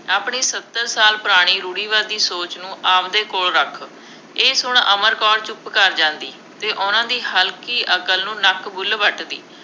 ਆਪਣੀ ਸੱਤਰ ਸਾਲ ਪੁਰਾਣੀ ਰੂੜ੍ਹਵਾਦੀ ਸੋਚ ਨੂੰ ਆਪਦੇ ਕੋਲ ਰੱਖ, ਇਹ ਸੁਣ ਅਮਰ ਕੌਰ ਚੁੱਪ ਕਰ ਜਾਂਦੀ ਅਤੇ ਉਹਨਾ ਦੀ ਹਲਕੀ ਅਕਲ ਨੂੰ ਨੱਕ-ਬੁੱਲ੍ਹ ਵੱਟਦੀ।